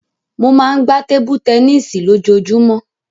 Mo máa ń gbá tébú tẹníìsì lójoojúmọ́.